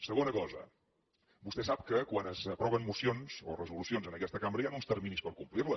segona cosa vostè sap que quan s’aproven mocions o resolucions en aquesta cambra hi han uns terminis per complir les